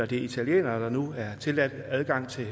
det er italienere der nu er tilladt adgang til